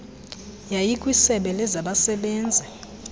yiya kwisebe lezabasebenzi